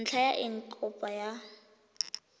ntlha ya eng kopo ya